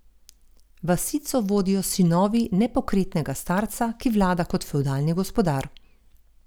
Vasico vodijo sinovi nepokretnega starca, ki vlada kot fevdalni gospodar.